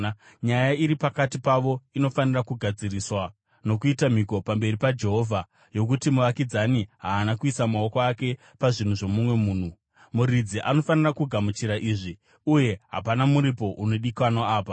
nyaya iri pakati pavo inofanira kugadziriswa nokuita mhiko pamberi paJehovha yokuti muvakidzani haana kuisa maoko ake pazvinhu zvomumwe munhu. Muridzi anofanira kugamuchira izvi, uye hapana muripo unodikanwa apa.